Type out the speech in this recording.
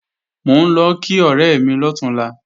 Mò ń lọ kí ọ̀rẹ́ mi lọ̀túnla